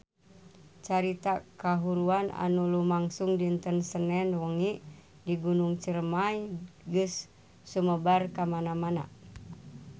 Carita kahuruan anu lumangsung dinten Senen wengi di Gunung Ciremay geus sumebar kamana-mana